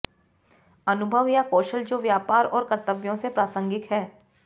अनुभव या कौशल जो व्यापार और कर्तव्यों से प्रासंगिक हैं